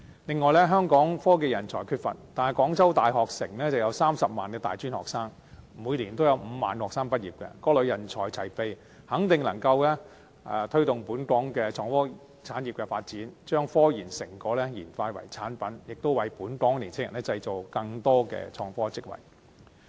此外，香港科技人才缺乏，但廣州大學城有30萬的大專學生，每年有5萬名學生畢業，各類人才齊備，肯定能夠推動本港的創科產業的發展，將科研成果轉化成產品，並為本港年青人製造更多的創科職位。